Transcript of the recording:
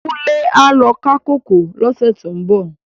Kunle á lò ká kókòó lòsè tó n bò